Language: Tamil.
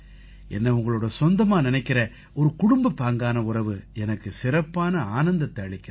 என்னை உங்களோட சொந்தமா நினைக்கற ஒரு குடும்பப்பாங்கான உறவு எனக்கு சிறப்பான ஆனந்தத்தை அளிக்குது